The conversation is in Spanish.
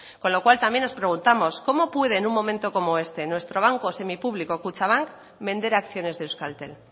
con lo cual también nos preguntamos cómo puede en un momento como este nuestro banco semipúblico kutxabank vender acciones de euskaltel